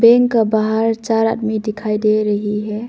इनका बाहर चार आदमी दिखाई दे रही है।